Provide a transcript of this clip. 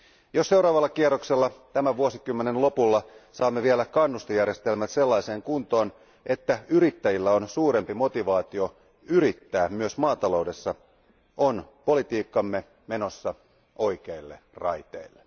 Jos seuraavalla kierroksella tämän vuosikymmenen lopulla saamme vielä kannustejärjestelmät sellaiseen kuntoon, että yrittäjillä on suurempi motivaatio yrittää myös maataloudessa, on politiikkamme menossa oikeille raiteille.